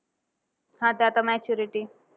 हा ते आता maturity